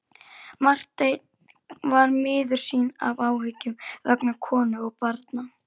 Marteinn var miður sín af áhyggjum vegna konu og barna.